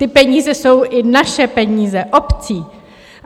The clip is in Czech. Ty peníze jsou i naše peníze, obcí!